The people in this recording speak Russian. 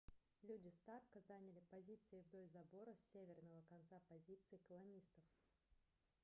люди старка заняли позиции вдоль забора с северного конца позиций колонистов